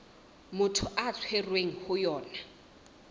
motho a tshwerweng ho yona